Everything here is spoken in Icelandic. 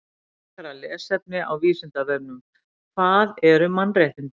Frekara lesefni á Vísindavefnum: Hvað eru mannréttindi?